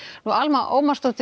Alma Ómarsdóttir